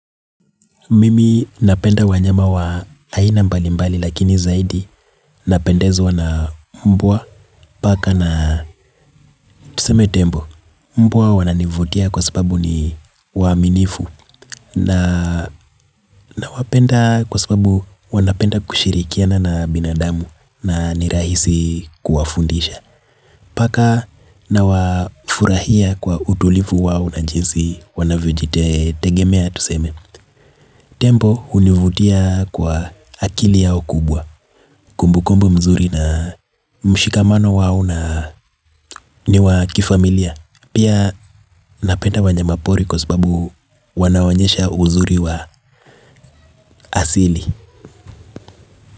Mimi napenda wanyama wa aina mbali mbali lakini zaidi napendezwa na umbwa, paka na tuseme tembo mbwa wananivutia kwa sababu ni waaminifu nina wapenda kwa sababu wanapenda kushirikiana na binadamu na ni rahisi kuwafundisha. Paka nawafurahia kwa utulivu wao na jinsi wanavyo jitegemea tuseme. Tembo hunivutia kwa akili yao kubwa. Kumbukumbu mzuri na mshikamano wao na niwa kifamilia. Pia napenda wanyama pori kwa sababu wanawaonyesha uzuri wa asili.